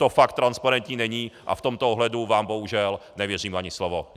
To fakt transparentní není a v tomto ohledu vám bohužel nevěřím ani slovo.